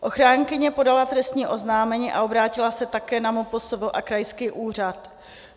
Ochránkyně podala trestní oznámení a obrátila se také na MPSV a krajský úřad.